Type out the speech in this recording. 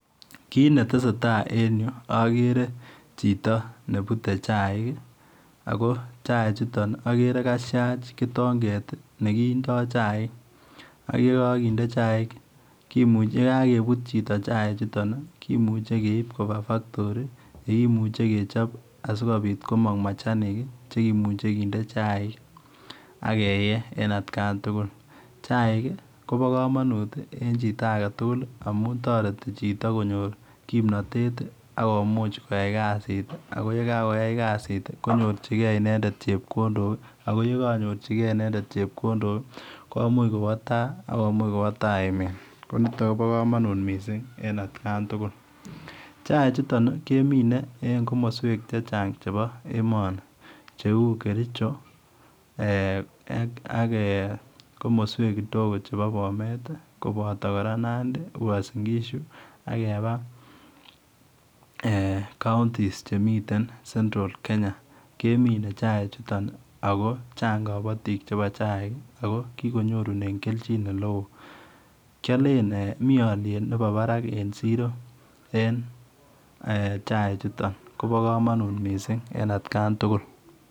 Kit ne tesetai en yu agere chito nebute chair ako chair chutoon agere kashaas kitongeet nekindoi chaik ak ye Kakinde ak ye kagesuut chito chaik chutoon kimuchei keib kobaa [factory] ye kimuchei kechaap asikobiit komaang machanik ak keyee en at kaan tugul ,chaik ii kobaa kamanut eng chito age tugul amuun taretii chitoo konyoor kimnatet ii akomuuch koyai KAZI it ii ak ye kayai KAZI it ii konyorjigei inendet chepkondok ak ye kakonyorjigei chutoon chepkondok akomuuch kobwa tai ak kobwaa tai emet missing en at kaan tugul, chaik chutoon kemine at ko midweek che change en emani che uu ,kericho, ak eeh komoswek kidogo che o bomet kobataa Nandi uansingishuu ak kebaa s[counties] chemistry [central Kenya] kemine chaik chutoon ako chaang kabatiik chebo chaik chutoon, ako kikonyorunen keljiin ele wooh ,kialen eeh mii aliet nebo Barak en siro en eeh chaik chutoon Kobo kamanut missing en at kaan tugul.